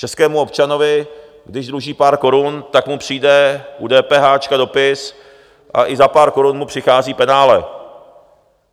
Českému občanovi, když dluží pár korun, tak mu přijde u DPH dopis a i za pár korun mu přichází penále.